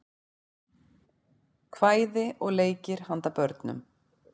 kvæði og leikir handa börnum